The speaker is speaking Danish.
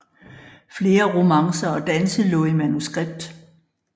Flere romancer og danse lå i manuskript